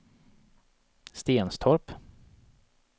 Stenstorp